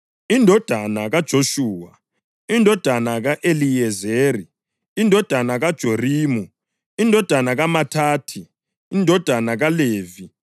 indodana kaJoshuwa, indodana ka-Eliyezeri, indodana kaJorimu, indodana kaMathathi, indodana kaLevi,